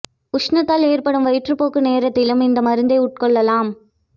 உஷ்ணத்தால் ஏற்படும் வயிற்றுப் போக்கு நேரத்திலும் இந்த மருந்தை உட்கொள்ளலாம்